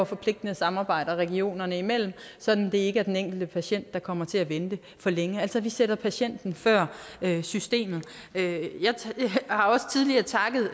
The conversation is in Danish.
forpligtende samarbejder regionerne imellem sådan at det ikke er den enkelte patient der kommer til at vente for længe altså vi sætter patienten før systemet jeg har også tidligere takket